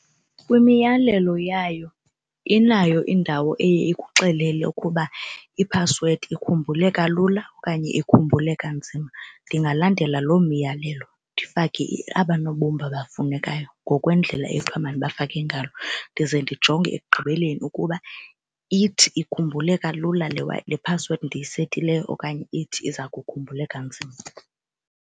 Kwimiyalelo yayo inayo indawo eye ikuxelele ukuba iphasiwedi ikhumbuleka lula okanye ikhumbuleka nzima. Ndingalandela loo miyalelo ndifake aba nobumba bafunekayo ngokwendlela ethi uba mandibafake ngayo ndize ndijonge ekugqibeleni ukuba ithi ikhumbuleka lula le phasiwedi ndiyisetileyo okanye ithi iza kukhumbuleka nzima.